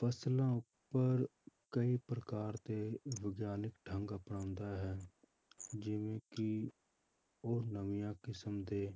ਫਸਲਾਂ ਉੱਪਰ ਕਈ ਪ੍ਰਕਾਰ ਦੇ ਵਿਗਿਆਨਿਕ ਢੰਗ ਅਪਣਾਉਂਦਾ ਹੈ ਜਿਵੇਂ ਕਿ ਉਹ ਨਵੀਂਆਂ ਕਿਸਮ ਦੇ